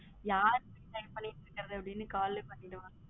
யாரு send பன்னிருகதுன்னு அப்பிடின்னு call லே பாத்துக்கலாம்